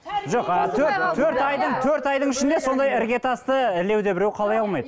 жоқ ы төрт төрт айдың төрт айдың ішінде сондай іргетасты ілуде біреу қалай алмайды